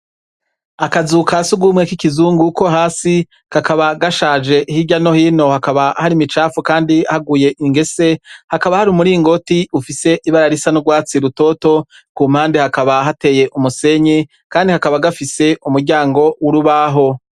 Akazu ka s'urw'umwe k'ikizungu ko hasi, kakaba gashaje hirya no hino hakaba hari ibicafu kandi haguye ingese, hakaba hari umuringoti ufise ibara risa n'urwatsi rutoto, ku mpande hakaba hateye umusenyi kandi kakaba gafise umuryango w'urubaho.